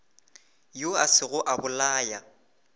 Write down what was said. yo a sego a bolaya